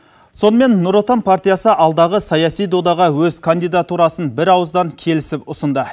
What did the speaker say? сонымен нұр отан партиясы алдағы саяси додаға өз кандидатурасын бірауыздан келісіп ұсынды